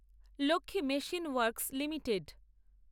Lakshmi machine works limited